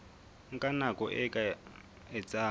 nka nako e ka etsang